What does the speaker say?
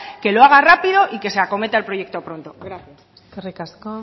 que lo haga rápido y se acometa al proyecto pronto gracias eskerrik asko